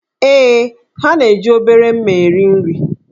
Ee, ha na-eji obere mma eri nri.